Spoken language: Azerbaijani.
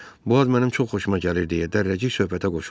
bu ad mənim çox xoşuma gəlir deyə Dərrəcik söhbətə qoşuldu.